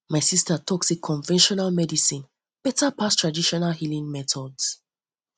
um my sista tok sey conventional medicine beta pass traditional um healing methods